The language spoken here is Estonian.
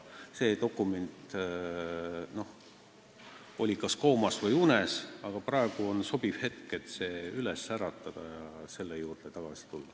See dokument oli kas koomas või unes, praegu on sobiv hetk see üles äratada ja selle juurde tagasi tulla.